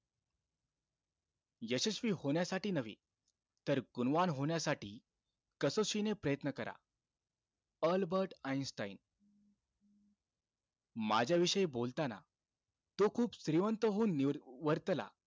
यशस्वी होण्यासाठी नव्हे, तर गुणवान होण्यासाठी कसोशीने प्रयत्न करा. Albert Einstein. माझ्या विषयी बोलताना तो खूप श्रीमंत होऊन नि~ वर्तला,